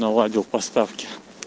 наладил поставки